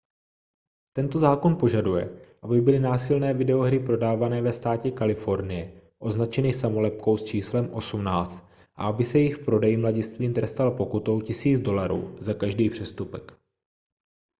tento zákon požaduje aby byly násilné videohry prodávané ve státě kalifornie označeny samolepkou s číslem 18 a aby se jejich prodej mladistvým trestal pokutou 1 000 dolarů za každý přestupek